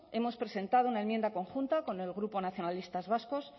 hemos presentado una enmienda conjunta con el grupo nacionalistas vascos